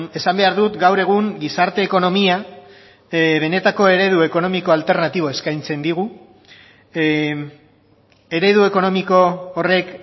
esan behar dut gaur egun gizarte ekonomia benetako eredu ekonomiko alternatiboa eskaintzen digu eredu ekonomiko horrek